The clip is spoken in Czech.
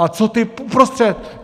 A co ti uprostřed?